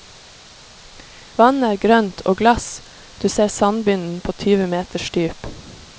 Vannet er grønt og glass, du ser sandbunnen på tyve meters dyp.